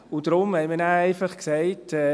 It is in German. Deshalb haben wir dann einfach gesagt: